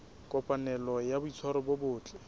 kopanelo ya boitshwaro bo botle